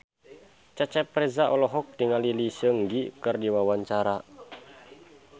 Cecep Reza olohok ningali Lee Seung Gi keur diwawancara